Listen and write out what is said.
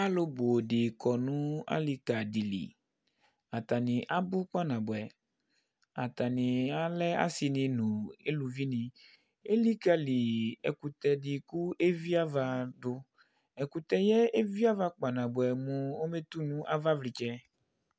Alʋ nʋ di kɔ nʋ alì ka di li Atani abʋ kpa nabʋɛ Atani alɛ asi ni nʋ alʋvi ni Elikali ɛkʋtɛ di kʋ evi ava du Ɛkʋtɛ yɛ evi ava kpa nabʋɛ mʋ ɔbetu nʋ ava vlitsɛ